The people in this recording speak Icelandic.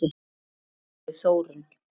Elsku Þórunn.